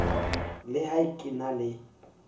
le ha ke na le